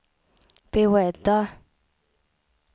beredda